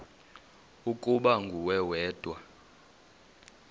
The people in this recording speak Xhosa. ukuba nguwe wedwa